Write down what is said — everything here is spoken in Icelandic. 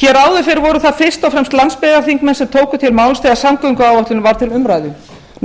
hér áður fyrr voru það fyrst og fremst landsbyggðarþingmenn sem tóku til máls þegar samgöngumálin voru til umræðu